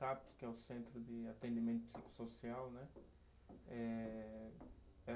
que é o Centro de Atendimento Psicossocial, né? Eh